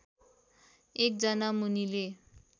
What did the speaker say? एकजना मुनिले